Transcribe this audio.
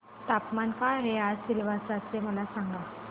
तापमान काय आहे आज सिलवासा चे मला सांगा